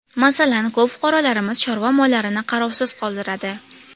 Masalan, ko‘p fuqarolarimiz chorva mollarini qarovsiz qoldiradi.